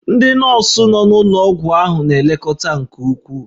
Ndị nọọsụ nọ n'ụlọ ọgwụ ahụ na-elekọta nke ukwuu